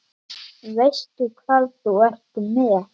Veistu hvað þú ert með?